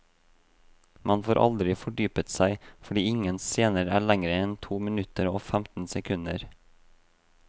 Man får aldri fordypet seg, fordi ingen scener er lengre enn to minutter og femten sekunder.